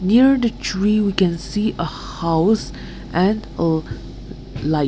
near the tree we can see a house and a light.